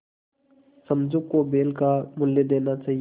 समझू को बैल का मूल्य देना चाहिए